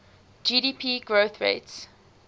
gdp growth rates